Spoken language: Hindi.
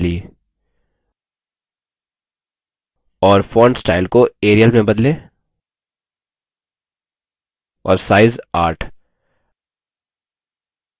और font स्टाइल को arial में bold और size 8